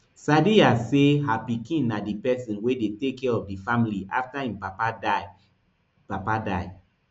sadiya say her pikin na di person wey dey take care of di family afta im papa die papa die